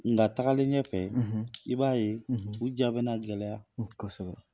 Nga tagalen ɲɛ fɛ i b'a ye u jaa bɛ na gɛlɛya kosɛbɛ.